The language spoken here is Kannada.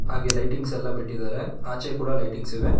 ಹಾಗೆ ಲೈಟಿಂಗ್ಸ್ ಎಲ್ಲಾ ಬಿಟ್ಟಿದ್ದಾರೆ ಆಚೆ ಕೂಡ ಲೈಟಿಂಗ್ಸ್ ಇವೆ.